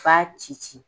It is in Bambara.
F'a ci ci ci